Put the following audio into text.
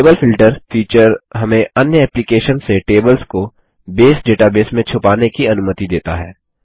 table filter feature हमें अन्य application से टेबल्स को बेस डेटाबेस में छुपाने की अनुमति देता है